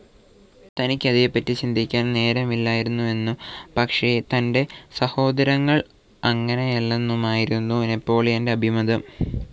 തനിക്കതേപ്പറ്റി ചിന്തിക്കാൻ നേരമില്ലായിരുന്നെന്നും പക്ഷെ തൻ്റെ സഹോദരങ്ങൾ അങ്ങനെയല്ലെന്നുമായിരുന്നു നെപ്പോളിയൻ്റെ അഭിമതം.